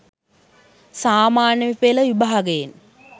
සාමාන්‍ය පෙළ විභාගයෙන්